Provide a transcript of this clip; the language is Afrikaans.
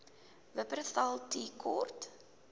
wupperthal tea court